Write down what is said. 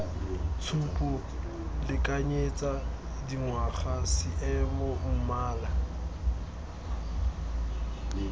tshupo lekanyetsa dingwaga seemo mmala